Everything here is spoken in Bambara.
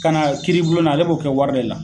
Ka na kiiri bulon na, ale b'o kɛ wari de la.